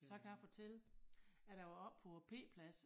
Så kan jeg fortælle at da var oppe på æ p-plads